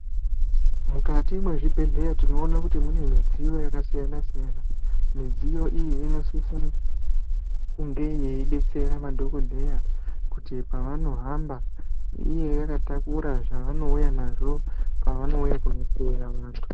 Mukati mezvibhedhlera tinoona kuti mune midziyo yakasiyana siyana midziyo iyi inosisira kunge yaibetsera madhokodheya kuti pavanohamba inge yakatakura zvaunouya nazvo panouya kuhloya vantu.